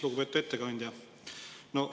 Lugupeetud ettekandja!